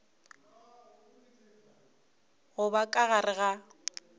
go ba ka gare ga